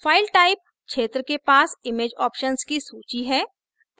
file type क्षेत्र के पास image options की सूची है